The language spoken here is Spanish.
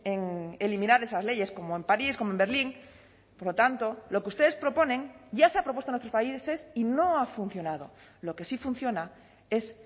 en eliminar esas leyes como en parís como en berlín por lo tanto lo que ustedes proponen ya se ha propuesto en otros países y no ha funcionado lo que sí funciona es